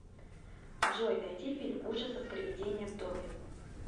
джой найди фильм ужасов привидение в доме